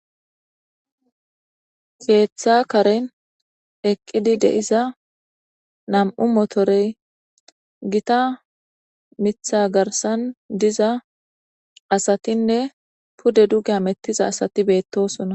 Keththa karen eqqidi de7iza nam7u motorey gita mitha garsan diza asatinne pude duge hamettiza asati betosona.